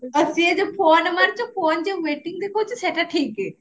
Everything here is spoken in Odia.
ସିଏ ଯୋଉ phone ମାରୁଚି phone ଯୋଉ waiting ଦେଖଉଚି ସେଟା ଠିକ